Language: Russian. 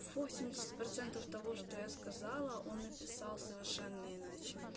восемьдесят процентов того что я сказала он написал совершенно иначе